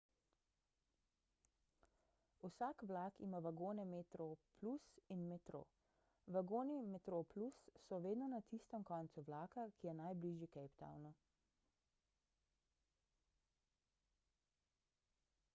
vsak vlak ima vagone metroplus in metro vagoni metroplus so vedno na tistem koncu vlaka ki je najbližji cape townu